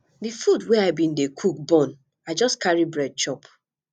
di food wey i bin dey cook burn i just carry bread chop